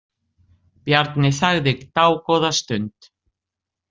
Bjarni þagði dágóða stund.